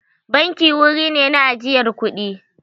Banki wuri ne na ajiyar kuɗi.